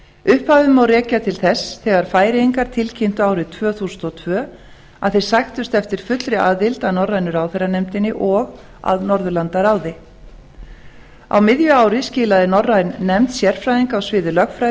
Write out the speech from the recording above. upphafi má rekja til þess þegar færeyingar tilkynntu árið tvö þúsund og tvö að þeir sæktust eftir fullri aðild að norrænu ráðherranefndinni og að norðurlandaráði á miðju ári skilaði norræn nefnd sérfræðinga á sviði lögfræði